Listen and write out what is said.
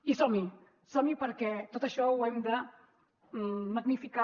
i som hi som hi perquè tot això ho hem de magnificar